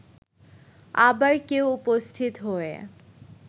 আবার কেউ উপস্থিত হয়ে